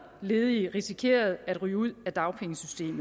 ledige risikerer at ryge ud af dagpengesystemet